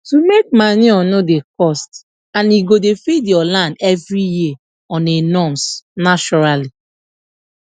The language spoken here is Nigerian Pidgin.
to make manure no dey cost and e go dey feed your land every year on a norms naturally